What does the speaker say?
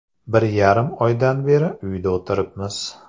Bir yarim oydan beri uyda o‘tiribmiz.